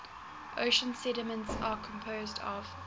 ocean sediments are composed of